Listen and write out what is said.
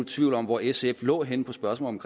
tvivl om hvor sf lå henne på spørgsmålet